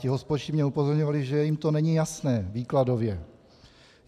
Ti hospodští mě upozorňovali, že jim to není jasné výkladově.